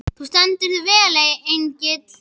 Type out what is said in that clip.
Þú stendur þig vel, Engill!